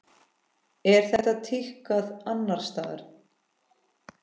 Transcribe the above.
Er þetta tíðkað annars staðar?